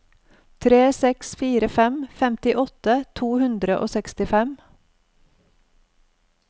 tre seks fire tre femtiåtte to hundre og sekstifem